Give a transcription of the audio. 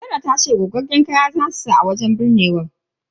Serah tace baqaqqen kaya zasu saka a wajen bizinan.